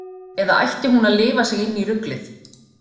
Eða ætti hún að lifa sig inn í ruglið?